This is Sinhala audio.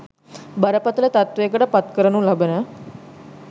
බරපතල තත්ත්වයකට පත්කරනු ලබන